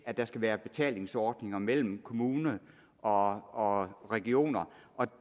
at der skal være betalingsordninger mellem kommuner og og regioner og